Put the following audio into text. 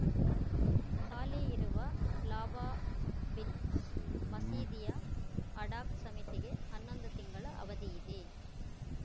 ಹಾಲಿ ಇರುವ ಲಾಬಾಬಿನ್‌ ಮಸೀದಿಯ ಅಡಾಕ್‌ ಸಮಿತಿಗೆ ಹನ್ನೊಂದು ತಿಂಗಳ ಅವಧಿಯಿದೆ